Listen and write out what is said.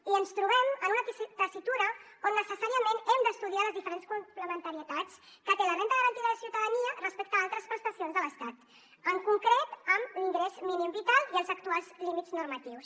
i ens trobem en una tessitura on necessàriament hem d’estudiar les diferents complementarietats que té la renda garantida de ciutadania respecte a altres prestacions de l’estat en concret amb l’ingrés mínim vital i els actuals límits normatius